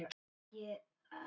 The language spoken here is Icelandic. Elsku pabbi minn!